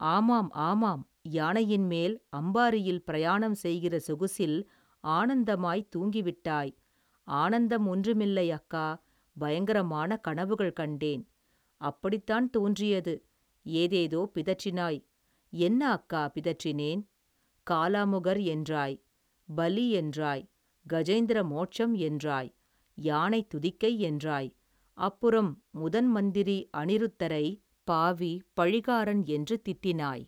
ஆமாம் ஆமாம் யானையின் மேல் அம்பாரியில் பிரயாணம் செய்கிற சொகுசில் ஆனந்தமாய் தூங்கி விட்டாய் ஆனந்தம் ஒன்றுமில்லை அக்கா பயங்கரமான கனவுகள் கண்டேன் அப்படித்தான் தோன்றியது ஏதேதோ பிதற்றினாய் என்ன அக்கா பிதற்றினேன் காலாமுகர் என்றாய் பலி என்றாய் கஜேந்திர மோட்சம் என்றாய் யானை துதிக்கை என்றாய் அப்புறம் முதன் மந்திரி அநிருத்தரை பாவி பழிகாரன் என்று திட்டினாய்.